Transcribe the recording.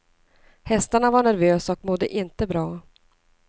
Hästarna var nervösa och mådde inte bra.